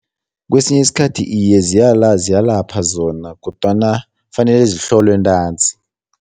Kwesinye isikhathi iye ziyalapha zona kodwana kufanele zihlolwe ntanzi.